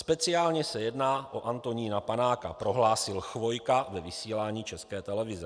Speciálně se jedná o Antonína Panáka," prohlásil Chvojka ve vysílání České televize.